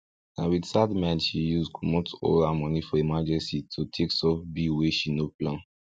na with sad mind she use comot all her money for emergency to take solve bill wey she no plan